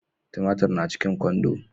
Tumatiri na cikin kwando